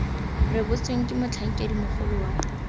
rebotsweng ke motlhankedi mogolo wa